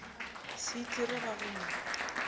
se itire ba go mo